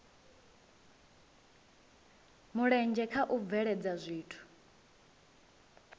mulenzhe kha u bveledza zwithu